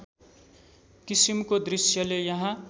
किसिमको दृश्यले यहाँ